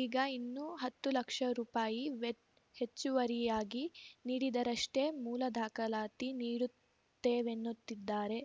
ಈಗ ಇನ್ನೂ ಹತ್ತು ಲಕ್ಷ ರೂಪಾಯಿ ವೆಹೆಚ್ಚುವರಿಯಾಗಿ ನೀಡಿದರಷ್ಟೇಮೂಲ ದಾಖಲಾತಿ ನೀಡುತ್ತೇವೆನ್ನುತ್ತಿದ್ದಾರೆ